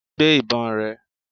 Gbé ìbọn rẹ!